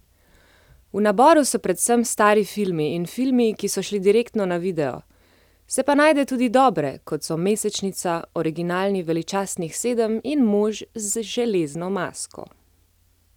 V naboru so predvsem stari filmi in filmi, ki so šli direktno na video, se pa najde tudi dobre, kot so Mesečnica, originalni Veličastnih sedem in Mož z železno masko.